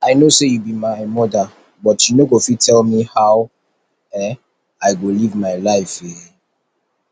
i know say you be my mother but you no go fit tell me how um i go live my life um